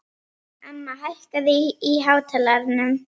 Emma, hækkaðu í hátalaranum.